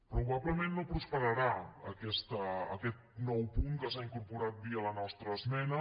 probablement no prosperarà aquest nou punt que s’ha incorporat via la nostra esmena